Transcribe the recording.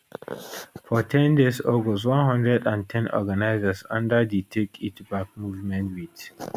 for ten days august 110 organisers under di take it back movement wit